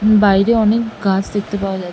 বাইরে অনেক গাছ দেখতে পাওয়া যা --